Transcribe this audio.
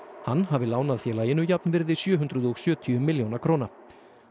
hann hafi lánað félaginu jafnvirði sjö hundruð og sjötíu milljóna króna